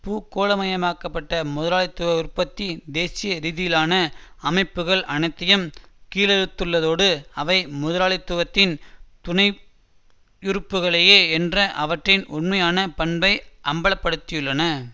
பூகோளமயமாக்கப்பட்ட முதலாளித்துவ உற்பத்தி தேசிய ரீதிலான அமைப்புக்கள் அனைத்தையும் கீழறுத்துள்ளதோடு அவை முதலாளித்துவத்தின் துணையுறுப்புக்களையே என்ற அவற்றின் உண்மையான பண்பை அம்பல படுத்தியுள்ளன